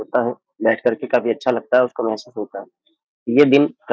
पता है मैच करके काफी अच्छा लगता है --